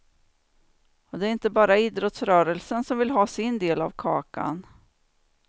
Och det är inte bara idrottsrörelsen som vill ha sin del av kakan.